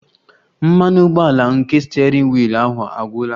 Mmanụ ụgbọala nke steering wheel ahụ agwụla